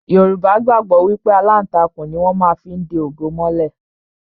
Yorùbá gbàgbọ́ wípé aláǹtakùn ni wón má fí ń de ògo mọ́lẹ̀